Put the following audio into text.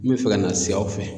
N bɛ fɛ ka na si aw fɛ.